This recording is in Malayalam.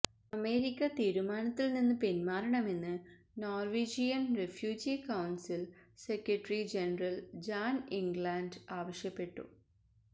അമേരിക്ക തീരുമാനത്തില് നിന്ന് പിന്മാറണമെന്ന് Norwegian refugee council secretary general Jan Egeland ആവശ്യപ്പെട്ടു